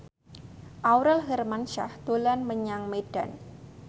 Aurel Hermansyah dolan menyang Medan